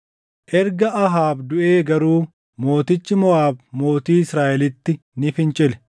Erga Ahaab duʼee garuu mootichi Moʼaab mootii Israaʼelitti ni fincile.